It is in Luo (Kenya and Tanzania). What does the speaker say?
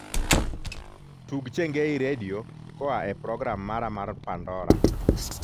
tug chengei redio koa e program mara mar pandora